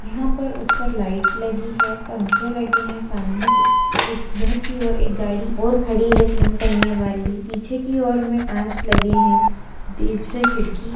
यहाँ पर उप्पर लाइट लगी है पंखे लगे हैं सामने उस उस घर की ओर एक गाड़ी और खड़ी है तीन पहिये वाली पीछे की ओर में कांच लगे हैं से खिड़की --